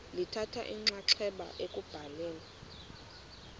lithatha inxaxheba ekubhaleni